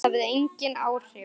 Það hafði engin áhrif.